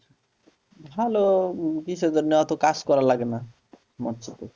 ভালো কিসের জন্য অত কাজ করা লাগে না মৎস্য তে